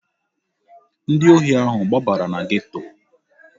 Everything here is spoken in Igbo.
Ndị ohi ahụ gbabara na geto.